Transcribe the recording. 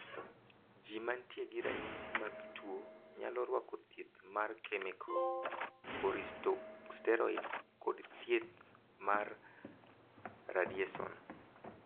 Ji mantie gi ranyisi mag tuo nyalo rwako thieth mar kemiko, kortikoseteroid, kod thieth mar radiyeson.